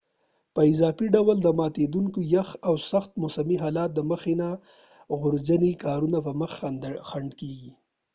په اضافی ډول د ماتیدونکې یخ او سخت موسمی حالات د مخکې نه د ژغورنی کارونو په مخ کې خنډ دي